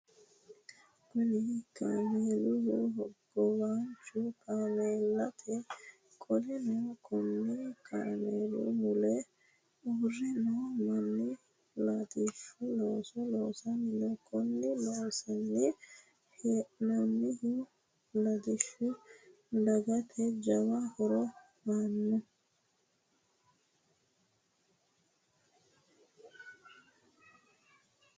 Kunni kaameelu hogowaancho kaameelaati. Qoleno konni kaameelu mule uure noo manni latishu looso loosanni no. Konni loosanni hee'noonnihu latishu dagate jawa horo aanoho.